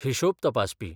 हिशोब तपासपी